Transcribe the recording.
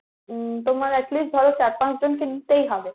উম তোমার at least ধরো চার পাঁচ জনকে নিতেই হবে।